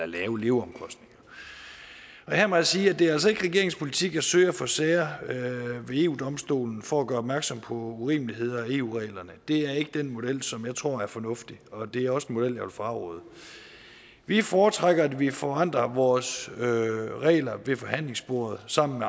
lave leveomkostninger her må jeg sige at det altså ikke er regeringens politik at søge at få sager ved eu domstolen for at gøre opmærksom på urimeligheder i eu reglerne det er ikke den model som jeg tror er fornuftig og det er også en model jeg vil fraråde vi foretrækker at vi forandrer vores regler ved forhandlingsbordet sammen